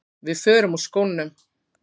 Við förum úr skónum.